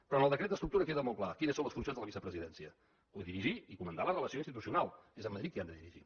però en el decret d’estructura queda molt clar quines són les funcions de la vicepresidència codirigir i comandar la relació institucional és amb madrid que han de dirigir